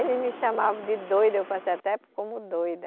Eles me chamavam de doida, eu passei até como doida.